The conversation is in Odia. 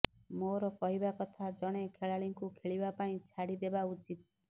ମୋର କହିବା କଥା ଜଣେ ଖେଳାଳିଙ୍କୁ ଖେଳିବା ପାଇଁ ଛାଡ଼ି ଦେବା ଉଚିତ୍